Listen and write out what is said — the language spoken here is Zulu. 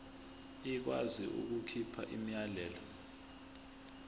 ikwazi ukukhipha umyalelo